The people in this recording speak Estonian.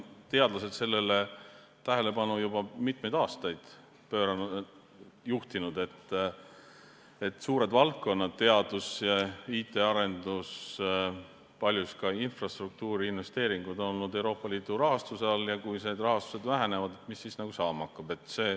Teadlased on juba mitmeid aastaid juhtinud tähelepanu sellele, et suured valdkonnad, teadus ja IT-arendus, paljus ka infrastruktuuriinvesteeringud on olnud Euroopa Liidu rahastuse peal, ja et kui see rahastus väheneb, mis siis saama hakkab.